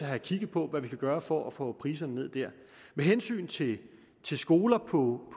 have kigget på hvad vi kan gøre for at få priserne ned der med hensyn til til skoler på